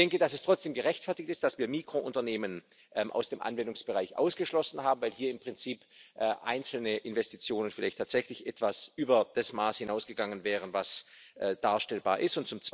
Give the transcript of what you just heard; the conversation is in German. Ich denke, dass es trotzdem gerechtfertigt ist, dass wir Mikrounternehmen aus dem Anwendungsbereich ausgeschlossen haben, weil hier im Prinzip einzelne Investitionen vielleicht tatsächlich etwas über das Maß hinausgegangen wären, was darstellbar ist.